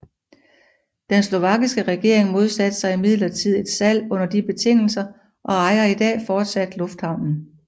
Den slovakiske regering modsatte sig imidlertid et salg under de betingelser og ejer i dag fortsat lufthavnen